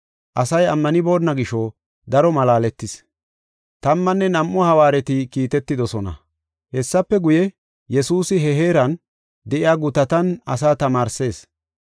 Asay ammanibona gisho daro malaaletis. Tammanne Nam7u Hawaareta Kiitetidosona ( Maato 10:5-15 ; Luqa 9:1-6 ) Hessafe guye, Yesuusi he heeran de7iya gutatan asaa tamaarsees.